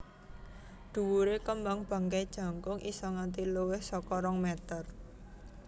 Dhuwure kembang bangkai jangkung isa nganti luwih saka rong meter